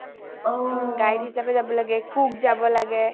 guide হিচাপে যাব লাগে cook যাব লাগে